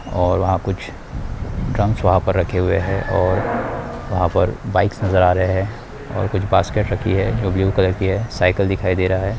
और वहाँ कुछ ड्रम्स वहाँ पर रखे हुई हैं और वहाँ पर बाइक्स नज़र आ रहे हैं और कुछ बास्केट रखी हैं वो ब्लू कलर की हैं साइकिल दिखाई दे रहा हैं।